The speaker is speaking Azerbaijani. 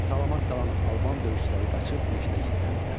Salamat qalan alban döyüşçüləri qaçıb meşədə gizləndilər.